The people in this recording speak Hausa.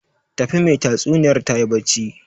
Tafi, mai tatsuniyar tayi barci